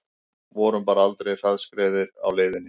Vorum bara aldrei hraðskreiðir á leiðinni